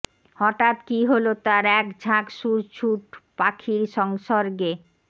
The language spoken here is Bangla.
হঠাৎ কী হলো তার এক ঝাঁক সুরছুট পাখির সংসর্গে